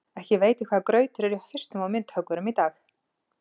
Ekki veit ég hvaða grautur er í hausnum á myndhöggvurum í dag.